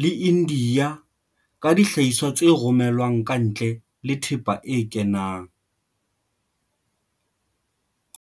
le India ka dihlahiswa tse romelwang kantle le thepa e kenang.